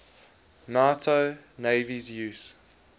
nato navies use